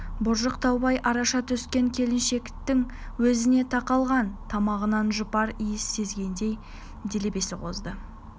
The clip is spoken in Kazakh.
боржық таубай араша түскен келіншектің өзіне тақалған тамағынан жұпар иіс сезгендей делебесі қозды